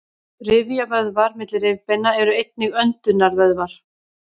rifjavöðvar milli rifbeina eru einnig öndunarvöðvar